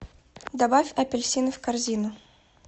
добавь апельсины в корзину